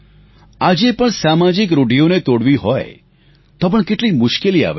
આજે પણ સામાજિક રૂઢીઓને તોડવી હોય તો પણ કેટલી મુશ્કેલી આવે છે